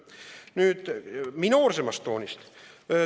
Nüüd minoorsemas toonis.